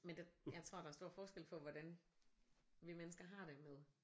Men der jeg tror der er stor forskel på hvordan vi mennesker har det med